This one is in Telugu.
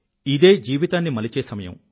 ఇదే జీవితాన్ని మలిచే సమయం